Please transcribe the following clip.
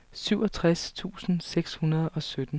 syvogtres tusind seks hundrede og sytten